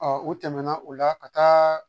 u tɛmɛna o la ka taa